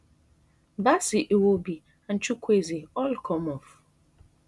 bassey iwobi and chukwueze all come off